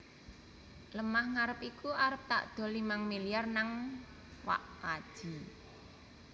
Lemah ngarep iku arep takdol limang miliar nang wak kaji